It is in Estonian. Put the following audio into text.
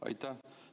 Aitäh!